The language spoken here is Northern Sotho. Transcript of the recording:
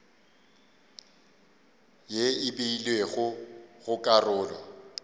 ye e beilwego go karolo